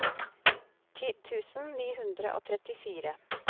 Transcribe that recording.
ti tusen ni hundre og trettifire